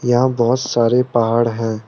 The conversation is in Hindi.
यहां बहुत सारे पहाड़ हैं।